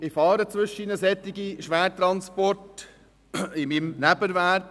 Ich fahre zwischendurch Schwertransporte im Rahmen meines Nebenerwerbs.